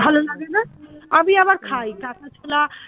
ভালো লাগে না আমি আবার কাঁচা ছোলা